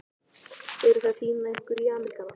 Eruð þið að týna ykkur í Ameríkana?